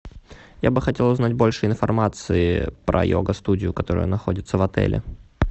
я бы хотел узнать больше информации про йога студию которая находится в отеле